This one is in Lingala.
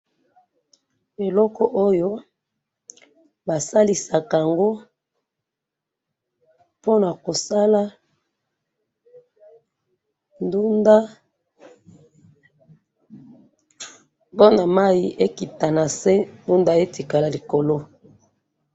Eloko oyo basalisaka yango pona kosala ndunda, po mayi ekita nase, ndunda Etiskala likolo.